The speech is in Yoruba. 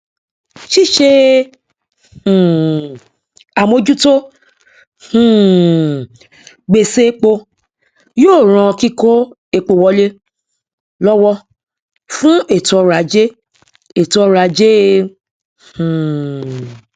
ṣíṣe um àmójútó um gbèṣè epo yóò ràn kíkó epo wọlé lọwọ fún ètòọrọajé ètòọrọajé um